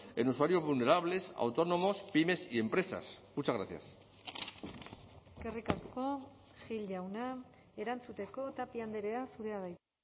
en usuarios vulnerables autónomos pymes y empresas muchas gracias eskerrik asko gil jauna erantzuteko tapia andrea zurea da hitza